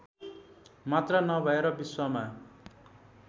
मात्र नभएर विश्वमा